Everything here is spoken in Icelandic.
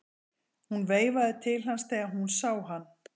Hún veifaði til hans þegar hún sá hann.